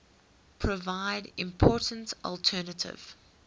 provide important alternative